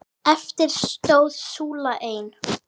Eftir stóð súlan ein.